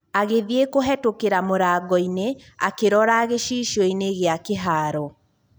Agĩthiĩ kũhetũkĩra mũrangoinĩ, akĩrora gĩcicioinĩ gĩa kĩharo.